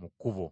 mu kkubo.